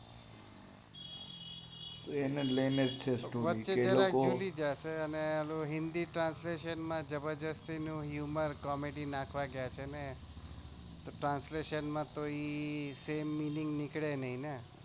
એને લૈનેજ છે story કે એલોકો વચ્ચે hummar comedy નાખવા કે છે ને translation માં તો same meaning નાઈ નીકળે